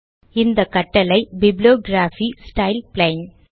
இந்த கட்டளை bibliography style plain